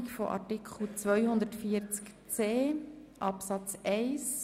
e, g, h (neu) Angenommen Art. 250 Abs. 3